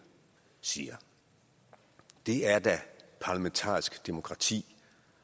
siger det er da parlamentarisk demokrati